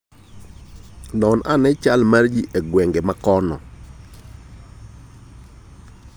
Non ane chal mar ji e gwenge mamoko.